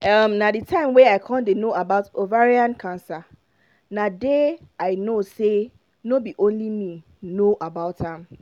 um na the time wey i con den no about ovarian cancer na dey i know say no be only me no know about am